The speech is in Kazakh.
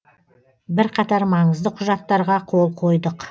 бірқатар маңызды құжаттарға қол қойдық